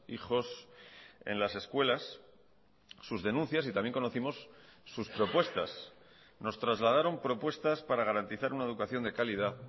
hijos en las escuelas sus denuncias y también conocimos sus propuestas nos trasladaron propuestas para garantizar una educación de calidad